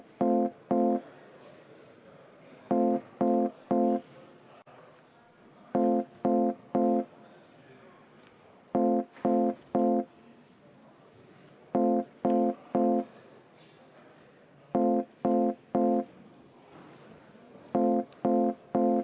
Aitäh!